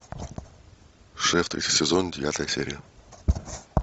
шеф третий сезон девятая серия